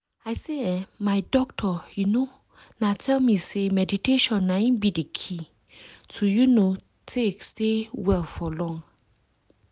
i say eeh my doctor you know na tell me say meditation na in be the key to you know take stay well for long.